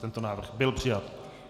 Tento návrh byl přijat.